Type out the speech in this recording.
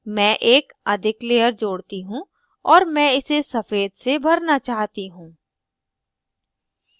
मैं एक अधिक layer जोड़ती हूँ और मैं इसे सफ़ेद से भरना चाहती हूँ